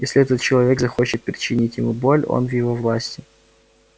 если этот человек захочет причинить ему боль он в его власти